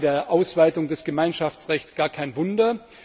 Das ist bei der Ausweitung des Gemeinschaftsrechts gar kein Wunder.